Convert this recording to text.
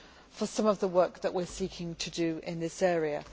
for some of the work that we are seeking to do in this area.